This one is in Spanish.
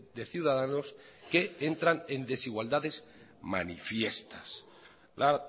de ciudadanos que entran en desigualdades manifiestas la